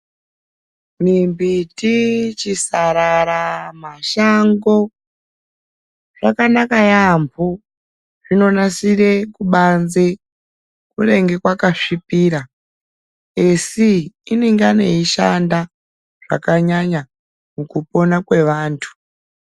Mimbiti chisarara mashango Zvakanaka yambo zvinonasira kubanze kunenge kwakazvibura asi inenge yeishanda zvakanyanya mukupona kwevantu.